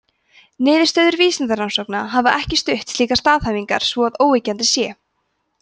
niðurstöður vísindarannsókna hafa ekki stutt slíkar staðhæfingar svo að óyggjandi sé